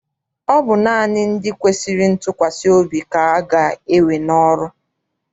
Ọ bụ naanị ndị kwesịrị ntụkwasị obi ka aga ewe n'ọrụ.